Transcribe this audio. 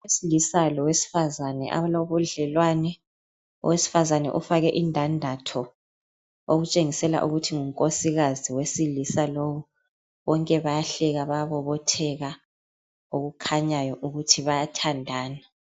Owesilisa lowesifazane abalobudlelwani. Owesifazane ufake indandatho okutshengisela ukuthi ngunkosikazi wesilisa lowu bonke bayahleka bayabobotheka okukhanyayo ukuthi bayathandana.